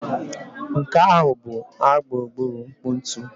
Nke ahụ bụ a gburugburu nkpu ntu